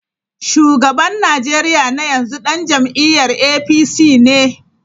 Shugaban Najeriya na yanzu dan jam’iyyar APC ne.